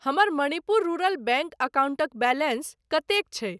हमर Manipur rural bank अकाउंटक balance कतेक छै?